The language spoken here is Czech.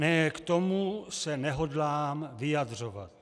Ne, k tomu se nehodlám vyjadřovat.